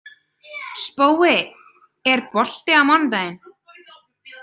Spói, er bolti á mánudaginn?